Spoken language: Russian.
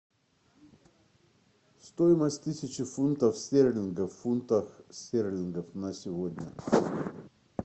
стоимость тысячи фунтов стерлингов в фунтах стерлингах на сегодня